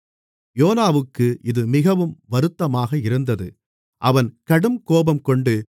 யோனாவுக்கு இது மிகவும் வருத்தமாக இருந்தது அவன் கடுங்கோபம் கொண்டு